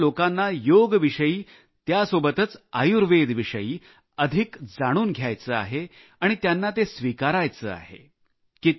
सर्वत्र लोकांना योग विषयी त्यासोबतच आयुर्वेद विषयी अधिक जाणून घ्यायचे आहे आणि त्यांना ते स्विकारायचे आहे